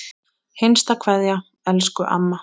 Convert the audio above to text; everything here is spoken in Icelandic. HINSTA KVEÐA Elsku amma.